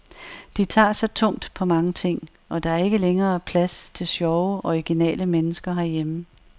De tager så tungt på mange ting, og der er ikke længere plads til sjove, originale mennesker herhjemme.